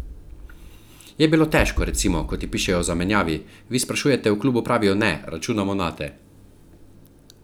Je bilo težko, recimo, ko ti pišejo o zamenjavi, vi sprašujete, v klubu pravijo ne, računamo nate.